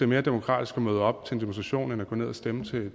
mere demokratisk at møde op til en demonstration end at gå ned og stemme til